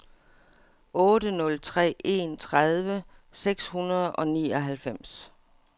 otte nul tre en tredive seks hundrede og nioghalvfems